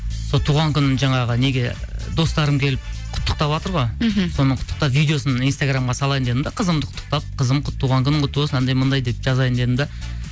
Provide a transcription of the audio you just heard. сол туған күнін жаңағы неге достарым келіп құттықтаватыр ғой мхм соны құттықтап видеосын инстаграмға салайын дедім де қызымды құттықтап қызым туған күнің құтты болсын анандай мынандай деп жазайын дедім де